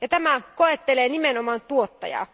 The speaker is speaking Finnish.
Tämä asia koettelee nimenomaan tuottajaa.